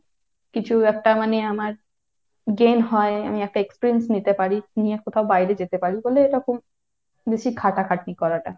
কিছু একটা মানে আমার gain হয়, আমি একটা experience নিতে পারি, নিয়ে কোথাও বাইরে যেতে পারি, বলেই এরকম বেশি খাটাখাটনি করাটা।